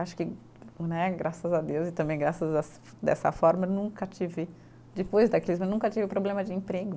Acho que né, graças a Deus e também graças a dessa forma nunca tive, depois, eu nunca tive problema de emprego.